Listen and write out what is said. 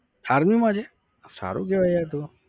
army માં છે. સારું કેવાય યાર તો